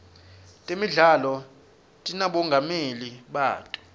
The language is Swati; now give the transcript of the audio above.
temidlalo tinabomongameli bato